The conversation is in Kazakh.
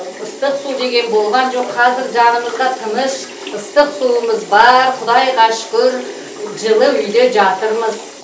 ыстық су деген болған жоқ қазір жанымызда тыныш ыстық суымыз бар құдайға шүкір жылы үйде жатырмыз